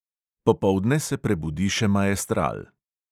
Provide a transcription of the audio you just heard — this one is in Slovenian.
Popoldne se prebudi še maestral.